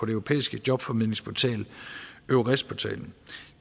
europæiske jobformidlingsportal eures portalen